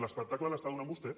l’espectacle l’està donant vostè